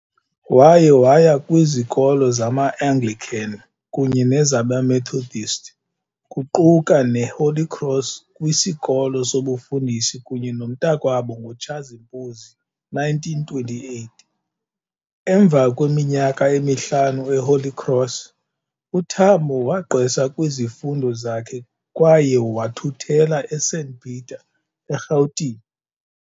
Waye waya kwizikolo zama-Anglican kunye nezabe-Methodist, kuquka ne-Holy Cross kwisikolo sobufundisi kunye nomntakwabo ngo Tshazimpuzi 1928. Emva kweminyaka emihlanu e-Holy Cross, uTambo wagqwesa kwizifundo zakhe kwaye wathuthela eSt Peter eRhawutini.